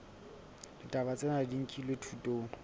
ditaba tsena di nkilwe thutong